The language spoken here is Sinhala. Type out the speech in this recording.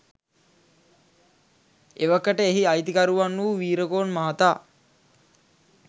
එවකට එහි අයිතිකරුවන් වූ වීරකෝන් මහතා